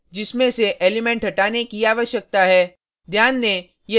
यह अरै है जिसमें से एलिमेंट हटाने की आवश्यकता है